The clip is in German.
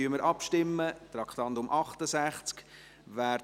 Dann stimmen ab, Traktandum 68.